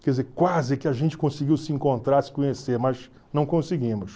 Quer dizer, quase que a gente conseguiu se encontrar, se conhecer, mas não conseguimos.